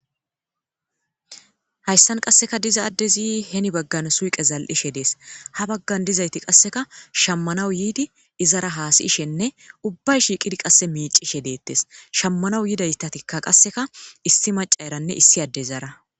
hayssan qasseka diza addezi heni baggan suyqe zal7ishe dees ha baggan dizayti qasseka shammanawu yiidi izara haasiyishenne ubbay shiiqidi qasse miicishe deettes shammanawu yidaytatikka qasseka issi maca eranne issi adde izara